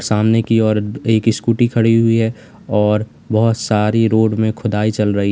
सामने की ओर एक इस्कूटी खड़ी हुई है और बहुत सारी रोड में खुदाई चल रही।